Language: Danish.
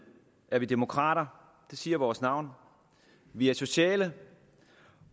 er vi demokrater det siger vores navn vi er sociale